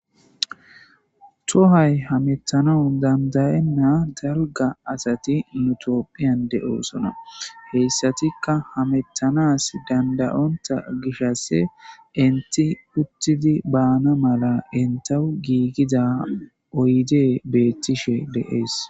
Tohay hamettano dandayenna darga asati nutopphiyan de'oosona heyssatikka hamettanas dandayonta gishasse inti uttidi baana mala intawu giigida oyde beettishe deees.